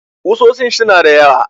Kusoshin su na da yawa